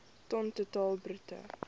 ton totaal bruto